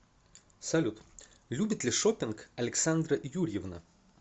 салют любит ли шоппинг александра юрьевна